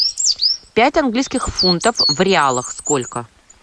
пять английских фунтов в реалах сколько